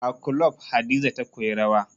A kulob Hadiza ta koyi rawa